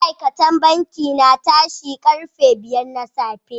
Ma'aikatan banki na tashi karfe biyar na safe.